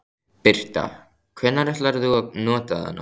Birta: Hvenær ætlar þú að nota þennan?